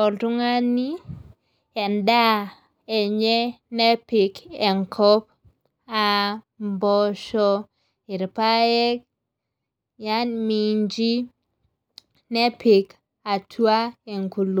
oltung'ani edaa enye nepik enkop aa imposho, irpaek minchi nepik atua enkulu.